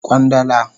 Kwandala